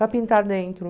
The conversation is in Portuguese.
para pintar dentro.